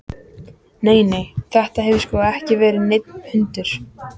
Nei, nei, þetta hefur sko ekki verið neinn hundur.